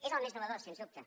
és el més nou sens dubte